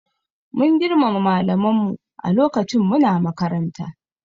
We respected our teachers while we were in school